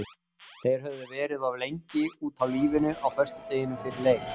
Þeir höfðu verið of lengi úti á lífinu á föstudeginum fyrir leik.